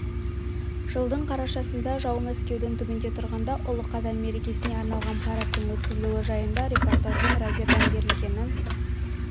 жылдың қарашасында жау мәскеудің түбінде тұрғанда ұлы қазан мерекесіне арналған парадтың өткізілуі жайында репортаждың радиодан берілгені